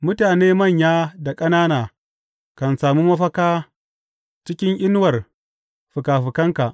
Mutane manya da ƙanana kan sami mafaka cikin inuwar fikafikanka.